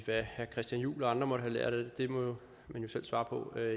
hvad herre christian juhl og andre har lært af det må man jo selv svare på